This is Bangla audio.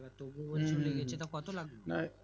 তবুয়ো বলতে তা কত লাগবে